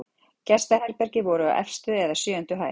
Gestaherbergi voru á efstu eða sjöundu hæð.